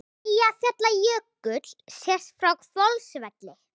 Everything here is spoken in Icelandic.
Eyjafjallajökull sést frá Hvolsvelli.